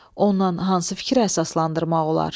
Ondan hansı fikir əsaslandırmaq olar?